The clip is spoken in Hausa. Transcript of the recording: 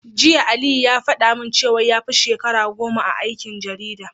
Jiya Aliyu ya faɗa min cewa yafi shekara goma a aikin jarida.